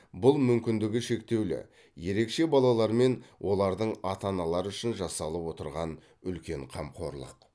бұл мүмкіндігі шектеулі ерекше балалар мен олардың ата аналары үшін жасалып отырған үлкен қамқорлық